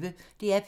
DR P1